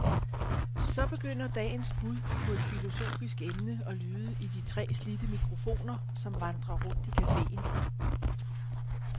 Så begynder dagens bud på et filosofisk emne at lyde i de tre slidte mikrofoner, som vandrer rundt i cafeen.